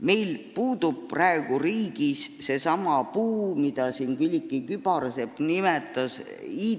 Meil puudub praegu riigis seesama IT-valdkonna puu, mida siin Külliki Kübarsepp nimetas.